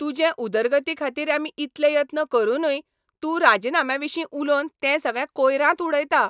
तुजे उदरगती खातीर आमी इतले यत्न करुनूय तूं राजिनाम्याविशीं उलोवन ते सगळे कोयरांत उडयता.